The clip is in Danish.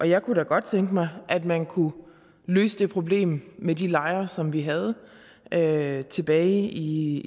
jeg kunne da godt tænke mig at man kunne løse det problem med de lejre som vi havde havde tilbage i